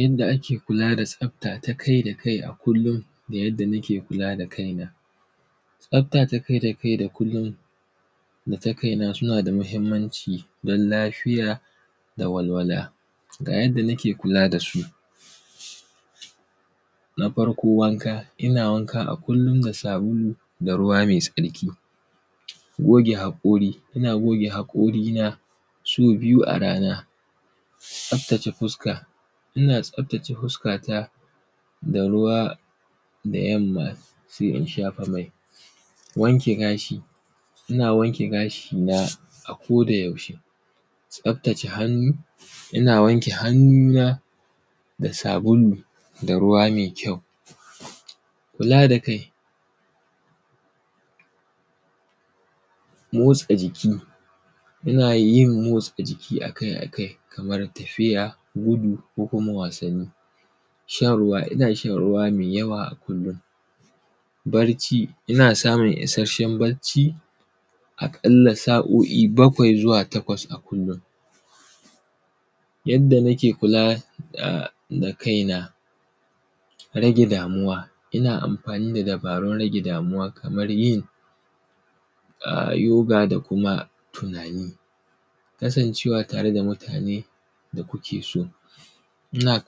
Yadda ake kula da tsafta ta kai da kai a kullun da yadda nake kula da kaina. Tsafta ta kai da kai da kullun da ta kaina suna da muhimmanci don lafiya da walwala. Yadda nake kula da su; na farko wanka, ina wanka a kullun da sabulu da ruwa me tsarki. Goge haƙori, ina goge haƙorina so biyu a rana. Tsaftace fuska, ina tsaftace fuskata da ruwa da yamma se in shafa mai. Wanke gashi, ina wanke gashina a kodayaushe. Tsaftace hannu, ina wanke hannuna da sabulu da ruwa me kyau. Kula da kai, motsa jiki, ina yin motsa jiki a kai a kai kamar tafiya, gudu ko kuma wasanni. Shan ruwa, ina shan ruwa me yawa a kullun. Barci, ina samun isasshen bacci aƙalla sa’o’i bakwai zuwa takwas a kullun. Yadda nake kula da ma kaina, rage damuwa, ina amafani da dabarun rage damuwa kamar yin a; yoga da kuma tunani. Kasancewa tare da mutane da kuke so, ina;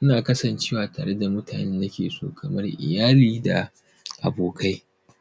ina kasancewa tare da mutanen da nake so kamar iyali da abokai.